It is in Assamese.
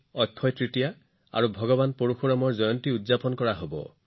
অক্ষয় তৃতীয়া আৰু ভগৱান পৰশুৰামৰ জন্ম জয়ন্তীও ৩ মেত উদযাপন কৰা হব